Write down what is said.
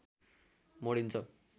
मोडिन्छ